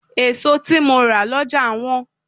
Èso tí mo rà lọ́jà wọ́n.